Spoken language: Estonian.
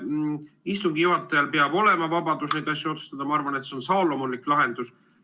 Ma arvan, et istungi juhatajal peab olema vabadus neid asju otsustada, ja ma arvan, et see on saalomonlik lahendus.